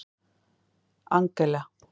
Angela